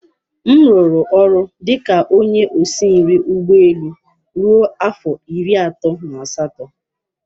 M rụrụ ọrụ dị ka onye osi nri ụgbọ elu ruo afọ iri atọ na asatọ.